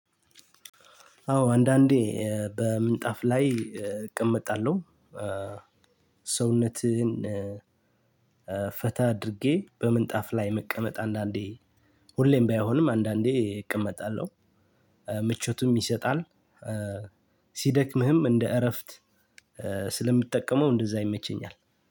አዎ አንዳንዴ በምንጣፍ ላይ እቀመጣለሁ። ሰውነትህን ፈታ አድርጌ በምንጣፍ ላይ መቀመጥ አንዳንዴ ሁሌም ባይሆንም አንዳንዴ እቀመጣለሁ። ምቾቱም ይሰጣል። ሲደክምህም እንደ እረፍት ስለምጠቀመው እንደዛ ይመቸኛል።